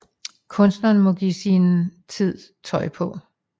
Kunstneren må give sin tid tøj på